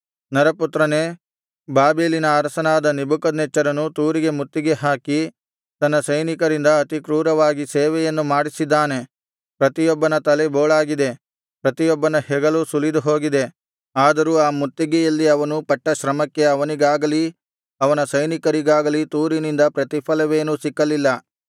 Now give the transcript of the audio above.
ನರಪುತ್ರನೇ ಬಾಬೆಲಿನ ಅರಸನಾದ ನೆಬೂಕದ್ನೆಚ್ಚರನು ತೂರಿಗೆ ಮುತ್ತಿಗೆ ಹಾಕಿ ತನ್ನ ಸೈನಿಕರಿಂದ ಅತಿ ಕ್ರೂರವಾಗಿ ಸೇವೆಯನ್ನು ಮಾಡಿಸಿದ್ದಾನೆ ಪ್ರತಿಯೊಬ್ಬನ ತಲೆ ಬೋಳಾಗಿದೆ ಪ್ರತಿಯೊಬ್ಬನ ಹೆಗಲು ಸುಲಿದು ಹೋಗಿದೆ ಆದರೂ ಆ ಮುತ್ತಿಗೆಯಲ್ಲಿ ಅವನು ಪಟ್ಟ ಶ್ರಮಕ್ಕೆ ಅವನಿಗಾಗಲಿ ಅವನ ಸೈನಿಕರಿಗಾಗಲಿ ತೂರಿನಿಂದ ಪ್ರತಿಫಲವೇನೂ ಸಿಕ್ಕಲಿಲ್ಲ